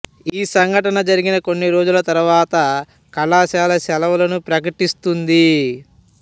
ఈ సంఘటన జరిగిన కొన్ని రోజుల తరువాత కళాశాల సెలవులను ప్రకటిస్తుంది